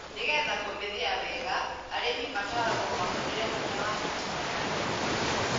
Nĩgeetha kũmithia wega arĩmĩ mataragwo mahũthire hinya wa thitima ya riũa.